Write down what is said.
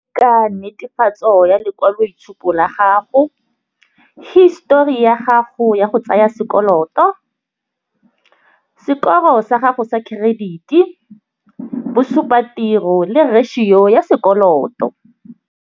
Ka netefatso ya lekwaloitshupo la gago, histori ya gago ya go tsaya sekoloto, sekoro sa gago sa credit-i, bo supa tiro le ratio ya sekoloto.